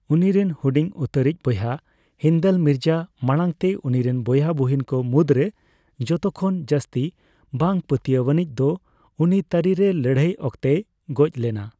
ᱩᱱᱤᱨᱮᱱ ᱦᱩᱰᱤᱧ ᱩᱛᱟᱹᱨᱤᱡ ᱵᱚᱭᱦᱟ ᱦᱤᱱᱫᱟᱞ ᱢᱤᱨᱡᱟ, ᱢᱟᱲᱟᱝᱛᱮ ᱩᱱᱤᱨᱮᱱ ᱵᱚᱭᱦᱟ ᱵᱚᱦᱤᱱ ᱠᱚ ᱢᱩᱫᱽ ᱨᱮ ᱡᱚᱛᱚᱠᱷᱚᱱ ᱡᱟᱹᱥᱛᱤ ᱵᱟᱝ ᱯᱟᱹᱛᱤᱭᱟᱹᱱᱤᱡ ᱫᱚ ᱩᱱᱤ ᱛᱟᱹᱨᱤ ᱨᱮ ᱞᱟᱹᱲᱦᱟᱹᱭ ᱚᱠᱛᱮᱭ ᱜᱚᱡ ᱞᱮᱱᱟ ᱾